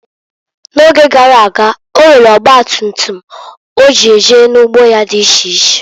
N'oge garaga, onwere ọgba tutum o ji eje n'ugbo ya di iche iche.